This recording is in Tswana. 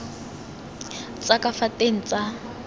tsa ka fa teng tsa